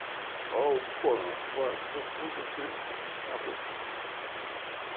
ó, pã, pã, foi pouco tempo, acabou.